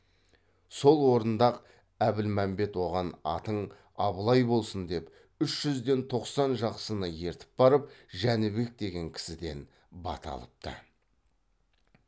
сол орында ақ әбілмәмбет оған атың абылай болсын деп үш жүзден тоқсан жақсыны ертіп барып жәнібек деген кісіден бата алыпты